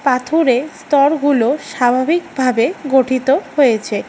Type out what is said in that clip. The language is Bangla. পাথরে স্তরগুলো স্বাভাবিকভাবে গঠিত হয়েছে।